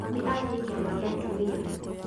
Mami athiĩ kĩama gĩa atumia